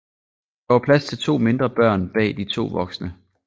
Der var plads til to mindre børn bag de to voksne